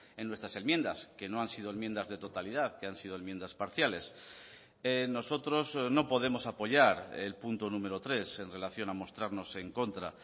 en nuestras enmiendas que no han sido enmiendas de totalidad que han sido enmiendas parciales nosotros no podemos apoyar el punto número tres en relación a mostrarnos en contra